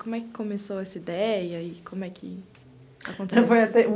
Como é que começou essa ideia e como é que aconteceu?